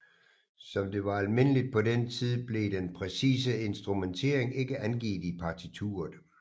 Som det var almindeligt på den tid blev den præcise instrumentering ikke angivet i partituret